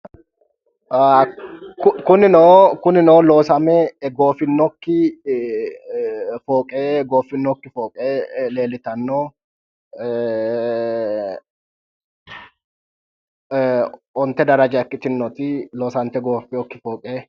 kunino kunino loosame goofinokki fooqe leellitanno ee onte daraja ikkitinoti loosante gooffinokki fooqe.